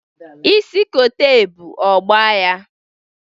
Isi kote ebụ ọ gba ya.